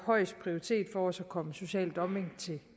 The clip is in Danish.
højeste prioritet for os at komme social dumping til